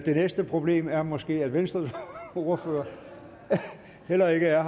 næste problem er måske at venstres ordfører heller ikke er